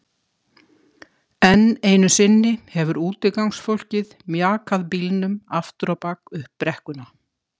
Enn einu sinni hefur útigangsfólkið mjakað bílnum aftur á bak upp brekkuna.